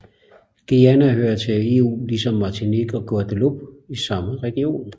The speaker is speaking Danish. Gyuana hører til EU ligesom Martinique og Guadeloupe i samme region